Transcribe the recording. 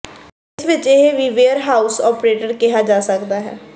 ਇਸ ਵਿਚ ਇਹ ਵੀ ਵੇਅਰਹਾਊਸ ਆਪਰੇਟਰ ਕਿਹਾ ਜਾ ਸਕਦਾ ਹੈ